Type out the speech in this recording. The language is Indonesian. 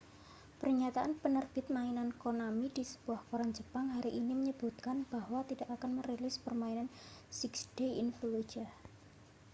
pernyataan penerbit mainan konami di sebuah koran jepang hari ini menyebutkan bahwa tidak akan merilis permainan six days in fallujah